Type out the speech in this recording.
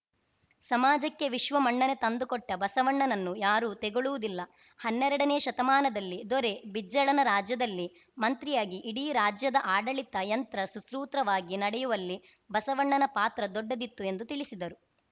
ಸಮಾಜಕ್ಕೆ ವಿಶ್ವ ಮನ್ನಣೆ ತಂದುಕೊಟ್ಟಬಸವಣ್ಣನನ್ನು ಯಾರೂ ತೆಗಳುವುದೂ ಇಲ್ಲ ಹನ್ನೆರಡನೇ ಶತಮಾನದಲ್ಲಿ ದೊರೆ ಬಿಜ್ಜಳನ ರಾಜ್ಯದಲ್ಲಿ ಮಂತ್ರಿಯಾಗಿ ಇಡೀ ರಾಜ್ಯದ ಆಡಳಿತ ಯಂತ್ರ ಸುಸೂತ್ರವಾಗಿ ನಡೆಯುವಲ್ಲಿ ಬಸವಣ್ಣನ ಪಾತ್ರ ದೊಡ್ಡದಿತ್ತು ಎಂದು ತಿಳಿಸಿದರು